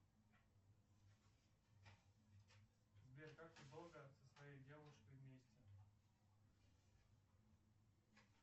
сбер как ты долго со своей девушкой вместе